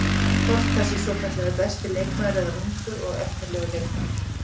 Hvort það sé svokallaði besti leikmaður eða ungur og efnilegur leikmaður.